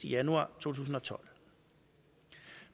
i januar to tusind og tolv